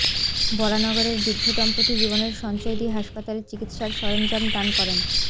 বরানগরের বৃদ্ধ দম্পতি জীবনের সঞ্চয় দিয়ে হাসপাতালে চিকিৎসার সরঞ্জাম দান করেন